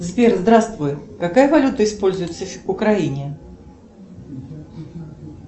сбер здравствуй какая валюта используется в украине